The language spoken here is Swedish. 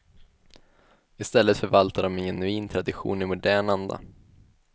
I stället förvaltar de en genuin tradition i modern anda.